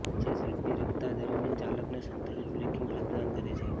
જે ઝડપી રફતાર દરમિયાન ચાલકને સંતુલિત બ્રેકિંગ પ્રદાન કરે છે